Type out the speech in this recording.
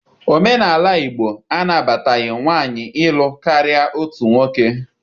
Omenala Igbo anabataghi nwaanyị ịlụ karịa otu nwoke